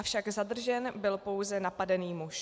Avšak zadržen byl pouze napadený muž.